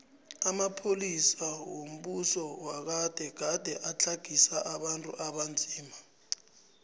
amapolisa wombuso wagade gade atlagisa abantu abanzima